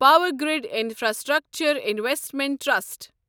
Powergrid Infrastructure Investment trust